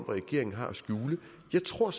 regeringen har at skjule jeg tror